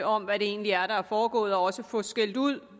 om hvad det egentlig er der er foregået og også får skældt ud